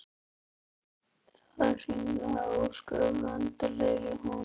Það hringlaði ósköp vesældarlega í honum.